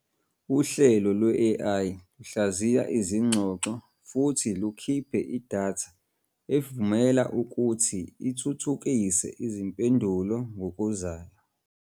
Uhlelo lwe-AI luhlaziya izingxoxo futhi lukhiphe idatha evumela ukuthi ithuthukise izimpendulo ngokuzayo.